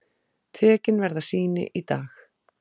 Tekin verða sýni í dag.